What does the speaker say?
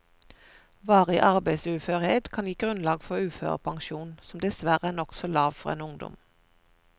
Varig arbeidsuførhet kan gi grunnlag for uførepensjon, som dessverre er nokså lav for en ungdom.